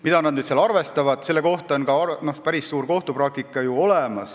Mida nad seal arvestavad, selle kohta on olemas ka päris suur kohtupraktika.